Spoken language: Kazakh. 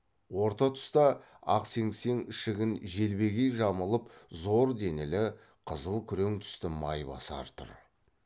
орта тұста ақ сеңсең ішігін желбегей жамылып зор денелі қызыл күрең түсті майбасар тұр